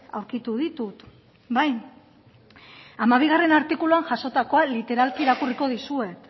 aurkitu ditut bai hamabigarrena artikuluan jasotakoa literalki irakurriko dizuet